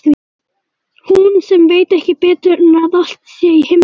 Hún sem veit ekki betur en að allt sé í himnalagi.